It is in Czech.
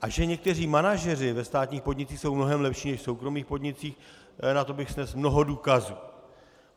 A že někteří manažeři ve státních podnicích jsou mnohem lepší než v soukromých podnicích, na to bych snesl mnoho důkazů.